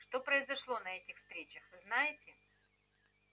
что произошло на этих встречах вы знаете